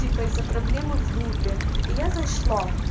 типа из-за проблемы в группе и я зашла